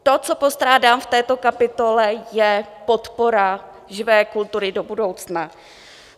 To, co postrádám v této kapitole, je podpora živé kultury do budoucna.